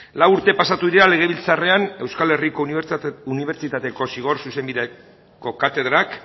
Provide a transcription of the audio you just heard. lau urte pasatu dira legebiltzarrean euskal herriko unibertsitateko zigor zuzenbideko katedrak